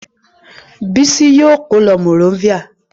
Bísí yóò kó lọ Monrovia.